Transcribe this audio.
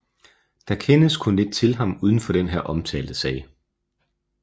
Der kendes kun lidt til ham uden for den her omtalte sag